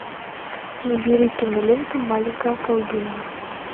набери киноленту маленькая колдунья